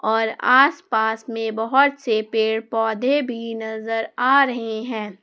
और आसपास में बहुत से पेड़ पौधे भी नजर आ रहे हैं।